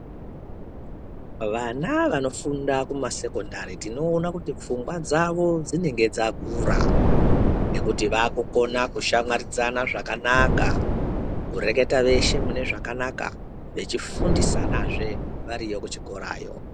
Vana vanofunda kumasekondari tinoona kuti pfungwa dzavo dzinenge dzakura ngekuti vaakukona kushamwaridzana zvakanaka, kureketa veshe mune zvakanaka, vechi fundisanazve variyo kuchikorayo.